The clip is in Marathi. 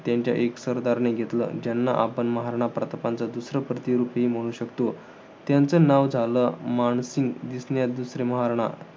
त्यांच्या एक सरदारने घेतलं. ज्यांना आपण महाराणा प्रतापांच दुसरं प्रतीरूपी म्हणू शकतो. त्यांचं नाव झालं, मानसिंग. दिसण्यात दुसरे महाराणा.